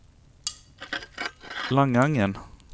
Langangen